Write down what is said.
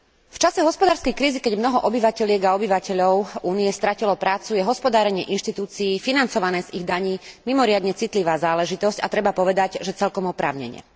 V čase hospodárskej krízy, keď mnoho obyvateliek a obyvateľov Únie stratilo prácu, je hospodárenie inštitúcii financované z ich daní mimoriadne citlivá záležitosť, a treba povedať, že celkom oprávnene.